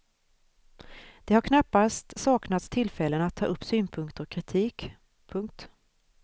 Det har knappast saknats tillfällen att ta upp synpunkter och kritik. punkt